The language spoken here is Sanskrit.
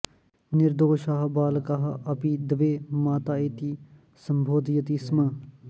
निर्दोषः बालकः अपि द्वे माता इति सम्बोधयति स्म